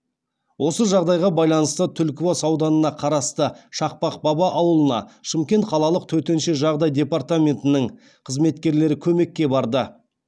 осы жағдайға байланысты түлкібас ауданына қарасты шақпақ баба ауылына шымкент қалалық төтенше жағдай департаментінің қызметкерлері көмекке барды